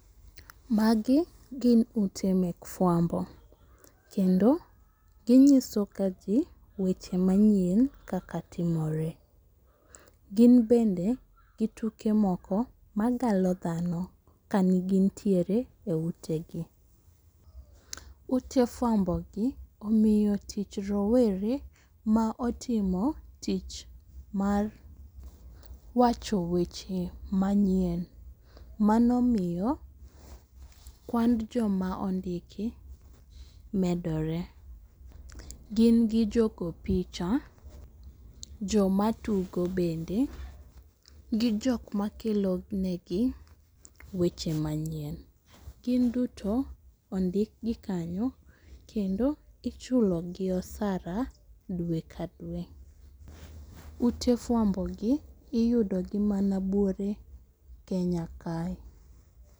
Magi gin ute mek fuambo, kendo ginyisoga jii weche manyien kaka timore. Gin bende gi tuke moko magalo dhano ka gintiere e utegi. Ute fuambogi omiyo tich rowere maotimo tich mar wacho weche manyien, manomiyo kwand joma ondiki medore. Gin gi jogo picha, jomatugo bende, gi jokma kelo negi weche manyien. Gin duto ondikgi kanyo, kendo ichulogi osara dwe ka dwe. Ute fuambogi iyudogi mana buore Kenya kae.